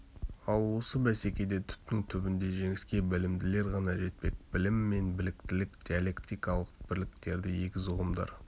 ал осы бәсекеде түптің түбінде жеңіске білімділер ғана жетпек білім мен біліктілік диалектикалық бірліктегі егіз ұғымдар